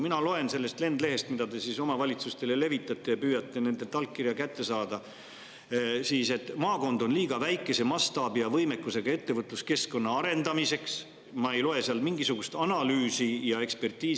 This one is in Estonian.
Ma loen sellest lendlehest, mida te omavalitsustele levitate ja püüate nendelt allkirja kätte saada, et maakond on liiga väikese mastaabi ja võimekusega ettevõtluskeskkonna arendamiseks, aga ma ei seal taga mingisugust analüüsi ega ekspertiisi.